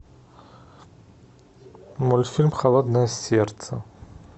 мультфильм холодное сердце